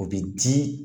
O bɛ di